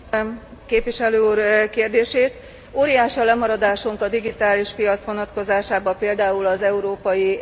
Óriási a lemaradásunk a digitális piac vonatkozásában, például az Európai Egyesült Államok vonatkozásában.